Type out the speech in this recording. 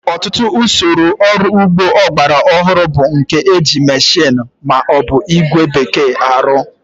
Ọtụtụ usoro ọrụ ugbo ọgbara ọhụrụ bu nke ndi e ji mmeshini ma o bu igwe bekee arụ